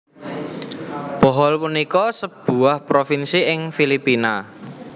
Bohol punika sebuah provinsi ing Filipina